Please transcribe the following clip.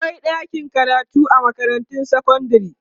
akwai ɗakin karatu a makarantun sekandare